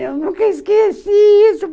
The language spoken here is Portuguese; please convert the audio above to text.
Eu nunca esqueci isso.